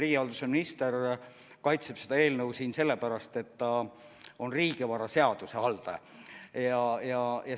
Riigihalduse minister kaitseb seda eelnõu siin sellepärast, et ta on riigivaraseaduse haldaja.